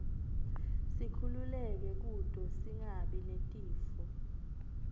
sikhululeke kute singabi netifo